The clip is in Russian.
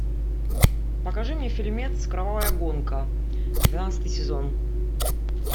покажи мне фильмец кровавая гонка двенадцатый сезон